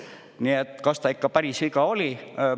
Nii et, kas ta ikka päris viga oli?